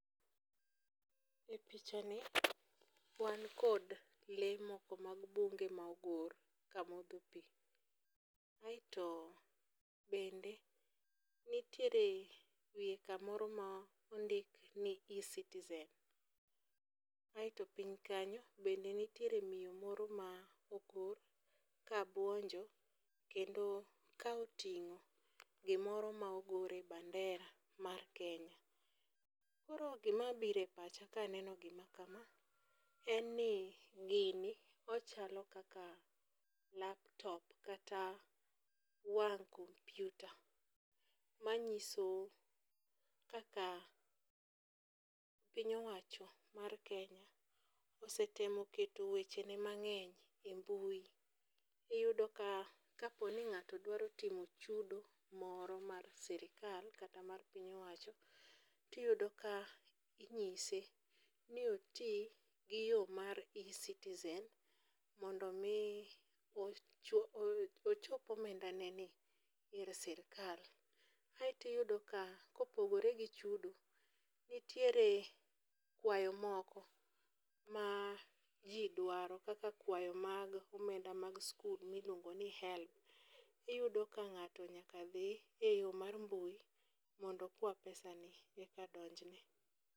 E pichani wankod lee moko mag bunge ma ogor kamodho pi, aeto bende nitiere wiye kamoro ma ondik ni eCitizen aeto piny kanyo bende nitiere miyo moro ma ogor kabuonjo kendo ka oting'o gimoro ma ogore bandera mar Kenya. Koro gimabiro e pacha kaneno gima kama en ni gini ochalo kaka laptop kata wang' kompiuta manyiso kaka piny owacho mar Kenya osetemo keto wechene mang'eny e mbui, iyudo ka kaponi ng'ato dwaro timo chudo moro mar sirikal kata mar piny owacho tiyudo ka inyise ni oti gi yo mar eCitizen mondo omi ochopo omendaneni ir sirkal. Aeto iyudo ka kopogore gi chudo nitiere kwayo moko ma ji dwaro kaka kwayo mag omenda mag skul miluongo ni helb, iyudo ka ng'ato nyaka dhi e yo mar mbui mondo okwa pesani yeka donjne.